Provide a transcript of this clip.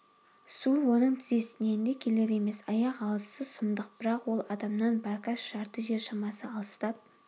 су оның тізесінен де келер емес аяқ алысы сұмдық бірақ ол адамнан баркас жарты жер шамасы алыстап